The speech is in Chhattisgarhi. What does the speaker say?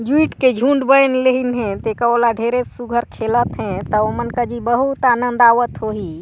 झूट के झूट बन लेहीन हे टेके ओला ढेरे सुघर खेलत हे ता मन कजिन बहुत आनंद आवत होही।